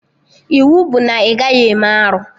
Iwu bụ na ị gaghị eme arụ!